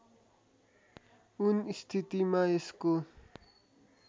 उन स्थितिमा यसको